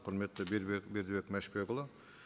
құрметті бердібек мәшбекұлы